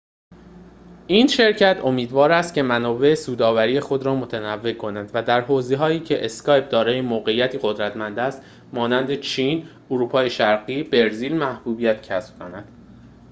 این شرکت امیدوار است که منابع سودآوری خود را متنوع کند و در حوزه‌هایی که اسکایپ دارای موقعیتی قدرتمند است مانند چین اروپای شرقی و برزیل محبوبیت کسب کند